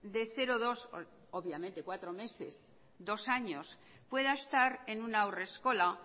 de cero dos obviamente cuatro meses dos años pueda estar en una haurreskola